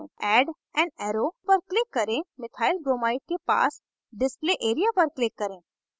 add an arrow पर click करें methylbromide के पास display area पर click करें